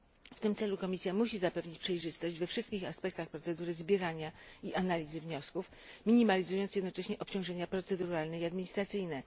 W tym celu Komisja musi zapewnić przejrzystość we wszystkich aspektach procedury zbierania i analizy wniosków, minimalizując jednocześnie obciążenia proceduralne i administracyjne.